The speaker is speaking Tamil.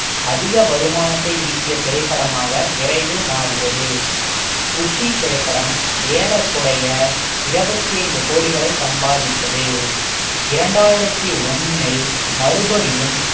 அதிக வருமானத்தை ஈட்டிய திரைப்படமாக விரைவில் மாறியது குஷி திரைப்படம் ஏறக்குறைய இருபத்தி ஐந்து கோடிகளை சம்பாதித்தது இரண்டாயிரத்தி ஒண்ணில் மறுபடியும்